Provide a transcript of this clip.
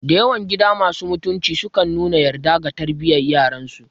Dayawan gida masu mutunci sukan nuna yarda ga tarbiyar yaransu